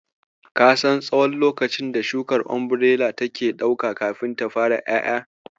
Ka san tsahon lokacin da shukar Umbirela take ɗauka kafin ta fara ƴaƴa?